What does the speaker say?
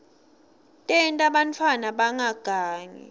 tenta bantfwana bangagangi